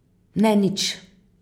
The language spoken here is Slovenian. Ne nič.